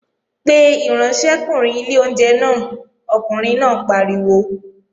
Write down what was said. Pe ìránṣẹ́kùnrin ilé oúnjẹ náà, ọkùnrin náà pariwo!